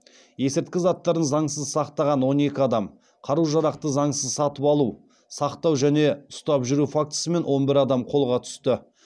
есірткі заттарын заңсыз сақтаған он екі адам қару жарақты заңсыз сатып алу сақтау және ұстап жүру фактісімен он бір адам қолға түсті